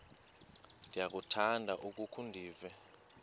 ndiyakuthanda ukukhe ndive